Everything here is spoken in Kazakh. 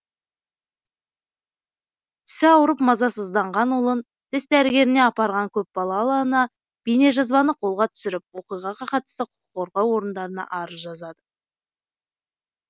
тісі ауырып мазасызданған ұлын тіс дәрігеріне апарған көп балалы ана бейнежазбаны қолға түсіріп оқиғаға қатысты құқыққорғау орындарына арыз жазады